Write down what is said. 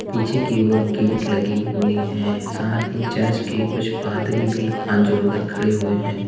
पीछे की ओर गेट लगे हुए हैं साथ ही चर्च के कुछ पादरी भी हाथ जोड़कर खड़े हुए हैं।